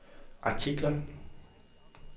artikler